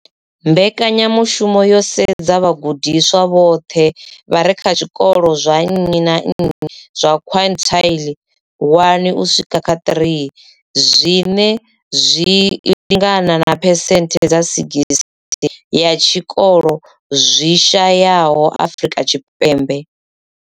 Mbekanyamushumo yo sedza vhagudiswa vhoṱhe vha re kha zwikolo zwa nnyi na nnyi zwa quintile 1 uswika kha 3, zwine zwa lingana na phesenthe dza 60 ya zwikolo zwi shayesaho Afrika Tshipembe.